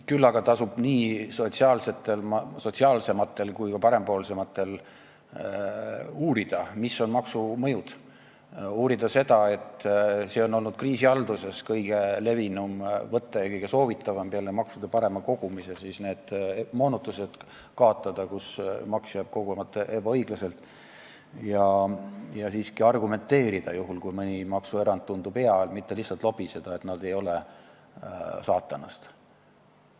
Küll aga tasub nii sotsiaalsematel kui ka parempoolsematel uurida, mis on maksumõjud – uurida seda, et see on olnud kriisihalduses kõige levinum võte ja kõige soovitavam peale maksude parema kogumise need moonutused kaotada, kus maks jääb kogumata ebaõiglaselt – ja siiski argumenteerida juhul, kui mõni maksuerand tundub hea, mitte lihtsalt lobiseda, et nad ei ole saatanast.